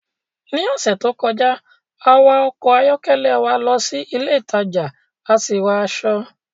Ní ọ̀sẹ̀ tó kọjá, a wa ọkọ̀ ayọ́kẹ́lẹ́ wa lọ sí ilé ìtajà a sì ra aṣọ